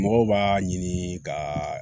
Mɔgɔw b'a ɲini ka